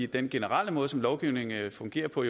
den generelle måde som lovgivning fungerer på